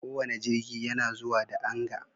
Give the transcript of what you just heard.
Kowane jirgi yana zuwa da Anga